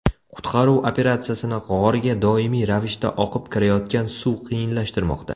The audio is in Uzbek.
Qutqaruv operatsiyasini g‘orga doimiy ravishda oqib kirayotgan suv qiyinlashtirmoqda.